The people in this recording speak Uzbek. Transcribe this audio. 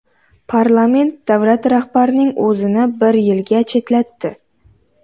Parlament davlat rahbarining o‘zini bir yilga chetlatdi.